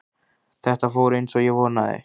Þetta fór eins og ég vonaði